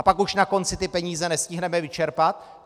A pak už na konci ty peníze nestihneme vyčerpat?